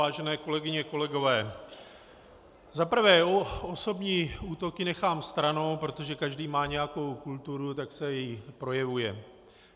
Vážené kolegyně, kolegové, za prvé, osobní útoky nechám stranou, protože každý má nějakou kulturu, tak se i projevuje.